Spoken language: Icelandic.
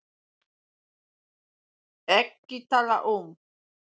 EKKI TALA UM